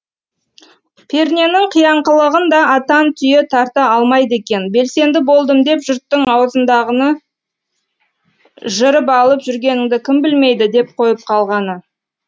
перненің қияңқылығын да атан түйе тарта алмайды екен белсенді болдым деп жұрттың аузындағыны жырып алып жүргеніңді кім білмейді деп қойып қалғаны